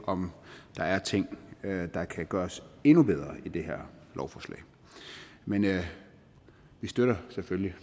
om der er ting der kan gøres endnu bedre i det her lovforslag men vi støtter selvfølgelig